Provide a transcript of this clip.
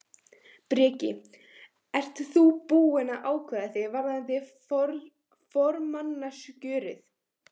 Breki: Ert þú búinn að ákveða þig varðandi formannskjörið?